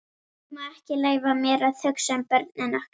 Ég má ekki leyfa mér að hugsa um börnin okkar.